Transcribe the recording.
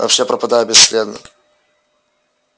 вообще пропадают бесследно